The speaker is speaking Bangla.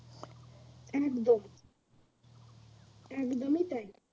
একদম একদমই তাই